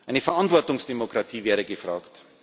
Eine Verantwortungsdemokratie wäre gefragt.